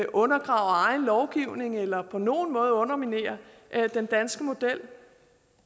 undergraver egen lovgivning eller på nogen måde underminerer den danske model